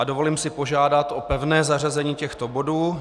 A dovolím si požádat o pevné zařazení těchto bodů.